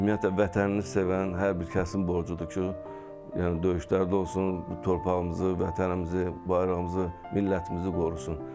Ümumiyyətlə vətənini sevən hər bir kəsin borcudur ki, yəni döyüşlərdə olsun, bu torpağımızı, vətənimizi, bayrağımızı, millətimizi qorusun.